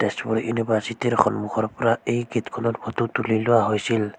Tezpur university সন্মুখৰ পৰা এই গেট খনৰ ফটো তুলি লোৱা হৈছিল।